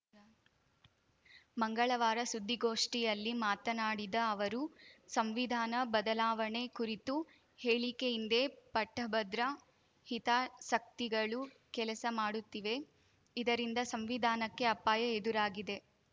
ಮಂಗಳವಾರ ಸುದ್ದಿಗೋಷ್ಠಿಯಲ್ಲಿ ಮಾತನಾಡಿದ ಅವರು ಸಂವಿಧಾನ ಬದಲಾವಣೆ ಕುರಿತು ಹೇಳಿಕೆ ಹಿಂದೆ ಪಟ್ಟಭದ್ರ ಹಿತಾಸಕ್ತಿಗಳು ಕೆಲಸ ಮಾಡುತ್ತಿವೆ ಇದರಿಂದ ಸಂವಿಧಾನಕ್ಕೆ ಅಪಾಯ ಎದುರಾಗಿದೆ